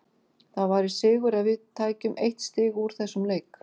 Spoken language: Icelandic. Það væri sigur ef við tækjum eitt stig úr þessum leik.